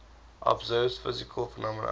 observed physical phenomena